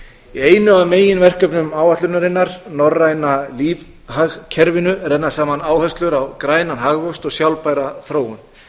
í einu af meginverkefnum áætlunarinnar norræna lífhagkerfinu renna saman áherslur á grænan hagvöxt og sjálfbæra þróun